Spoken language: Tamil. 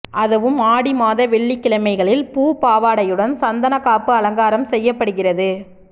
அதுவும் ஆடி மாத வெள்ளிக்கிழமைகளில் பூப்பாவாடையுடன் சந்தனக்காப்பு அலங்காரம் செய்யப்படுகிறது